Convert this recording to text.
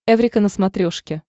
эврика на смотрешке